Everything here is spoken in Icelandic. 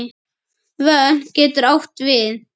Vötn getur átt við